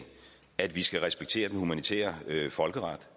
at vi skal respektere den humanitære folkeret